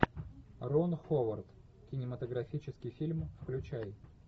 рон ховард кинематографический фильм включай